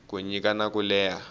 ku nyika na ku leha